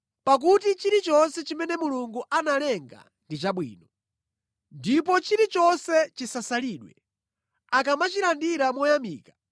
Pakuti chilichonse chimene Mulungu analenga ndi chabwino, ndipo chilichonse chisasalidwe, akamachilandira moyamika,